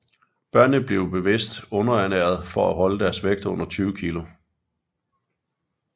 Børnene bliver bevidst underernæret for at holde deres vægt under 20 kg